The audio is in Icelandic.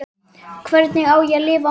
Hvernig á ég að lifa án þín?